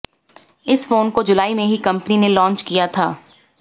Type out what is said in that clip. इस फोन को जुलाई में ही कंपनी ने लॉन्च किया था